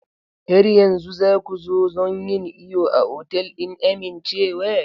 Har yanzu za ku zo don yin iyo a otal ɗin amincewa?